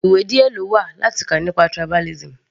Ìwé díẹ̀ lówà láti kà nípa tribalism.